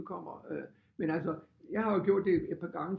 Udkommer men altså jeg har jo gjort det et par gange